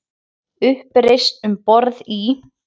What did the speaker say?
Uppreisn um borð í